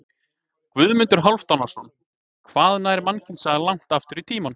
Guðmundur Hálfdanarson: Hvað nær mannkynssagan langt aftur í tímann?